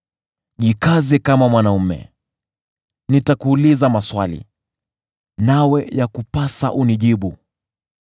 “Jikaze kama mwanaume; nitakuuliza maswali, nawe yakupasa unijibu.